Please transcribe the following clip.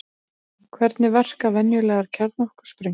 Hvernig verka venjulegar kjarnorkusprengjur?